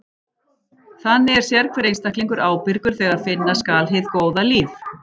Þannig er sérhver einstaklingur ábyrgur þegar finna skal hið góða líf.